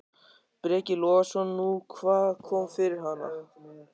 Breki Logason: Nú, hvað kom fyrir hana?